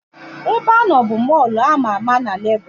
Ebeanọ bụ Mọlụ ama ama na Legos